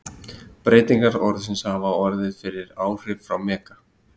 Breytingar orðsins hafa orðið fyrir áhrif frá mega.